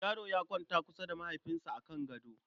Yaro ya kwanta kusa da mahaifinsa a kan gaɗo.